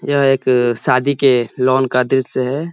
यह एक शादी के लॉन का दृश्य है।